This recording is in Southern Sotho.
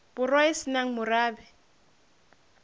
borwa e se nang morabe